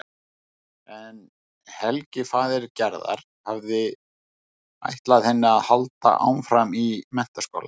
En Helgi faðir Gerðar hafði ætlað henni að halda áfram í menntaskóla.